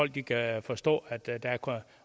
de kan forstå